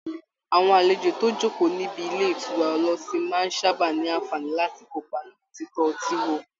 Àwọn àlejò tó ń jókòó níbi ilé ìtura ọlọ́tí máa ń sábà ní àǹfààní láti kópa nínú títọ́ ọtí wò